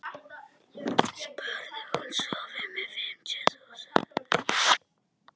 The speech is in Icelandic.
spurði hún svo.